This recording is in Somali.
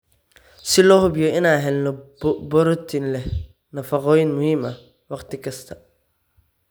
si loo hubiyo inaan helno borotiin leh nafaqooyin muhiim ah wakhti kasta.